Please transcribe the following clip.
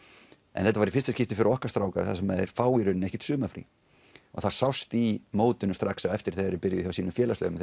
en þetta var í fyrsta skipti fyrir okkar stráka sem þeir fá í rauninni ekkert sumarfrí og það sást í mótinu strax á eftir þegar þeir byrjuðu hjá sínum félagsliðum